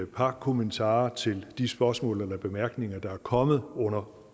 par kommentarer til de spørgsmål eller bemærkninger der er kommet under